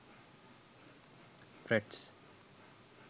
frets